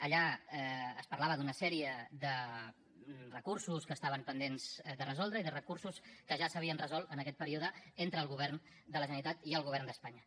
allà es parlava d’una sèrie de recursos que estaven pendents de resoldre i de recursos que ja s’havien resolt en aquest període entre el govern de la generalitat i el govern d’espanya